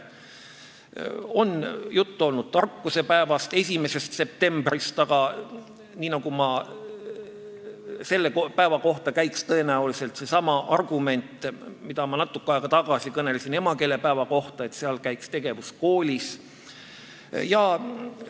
On olnud juttu tarkusepäevast, 1. septembrist, aga selle päeva kohta käiks tõenäoliselt seesama argument, mida ma natuke aega tagasi tõin emakeelepäeva kohta, et sellel päeval käib tegevus tavaliselt koolis.